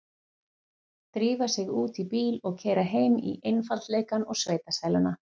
Drífa sig út í bíl og keyra heim í einfaldleikann og sveitasæluna.